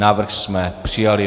Návrh jsme přijali.